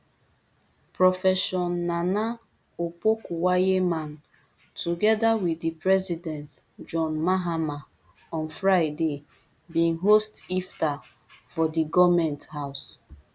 profession naana opokuagyemang togeda wit di president john mahama on friday bin host iftar for di goment house